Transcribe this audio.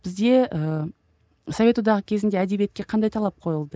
бізде ыыы совет одағы кезінде әдебиетке қандай талап қойылды